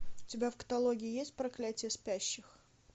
у тебя в каталоге есть проклятие спящих